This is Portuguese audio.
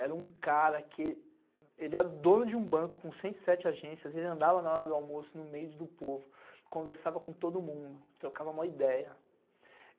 Era um cara que... ele era o dono de um banco com cento e sete agências, ele andava na hora do almoço no meio do povo, conversava com todo mundo, trocava maior ideia.